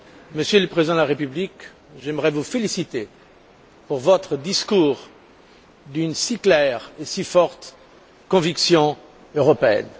Monsieur le Président de la République, j'aimerais vous féliciter pour votre discours d'une si claire et si forte conviction européenne.